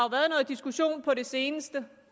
diskussion på det seneste